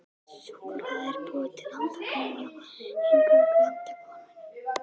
Súkkulaði er búið til handa konum, já, eingöngu handa konum.